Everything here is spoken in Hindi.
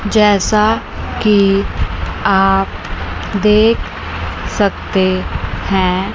जैसा कि आप देख सकते हैं।